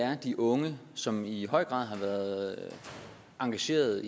er de unge som i høj grad har været engageret